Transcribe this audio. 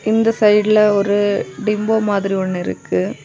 இந்த சைடுல ஒரு டிம்போ மாதிரி ஒன்னு இருக்கு.